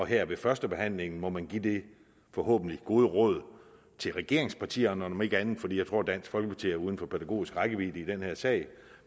her ved førstebehandlingen må man give det forhåbentlig gode råd til regeringspartierne om ikke andet for jeg tror dansk folkeparti er uden for pædagogisk rækkevidde i den her sag